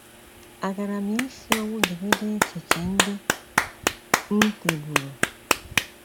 Àgaara m isi ọnwụ jigide echiche ndị m nweburu?